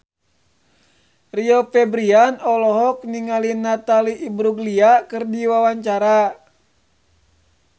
Rio Febrian olohok ningali Natalie Imbruglia keur diwawancara